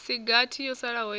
si gathi yo salaho ya